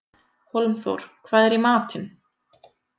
Hólmþór, hvað er í matinn?